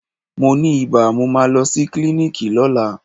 Mo ni ibà, mo máa lọ sí klíníkì lọ́la.